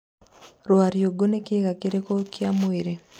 rwariũngũ nĩ kĩga kĩrĩku kĩa mwĩri